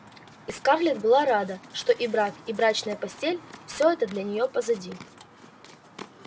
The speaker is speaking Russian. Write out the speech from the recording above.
скарлетт была рада что и брак и брачная постель-все это для нее позади